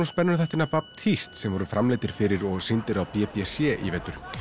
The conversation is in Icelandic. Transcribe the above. Baptiste sem voru framleiddir fyrir og sýndir á b b c í vetur